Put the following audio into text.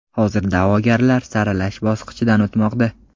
Hozir da’vogarlar saralash bosqichidan o‘tmoqda.